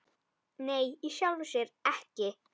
Nei, í sjálfu sér ekki.